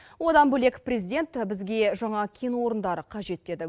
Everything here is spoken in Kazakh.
одан бөлек президент бізге жаңа кен орындары қажет деді